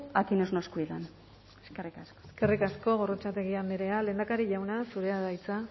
a quienes nos cuidan eskerrik asko eskerrik asko gorrotxategi andrea lehendakari jauna zurea da hitza